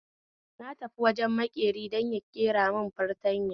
Na tafi wajen makeri don ya gyaramun fartanya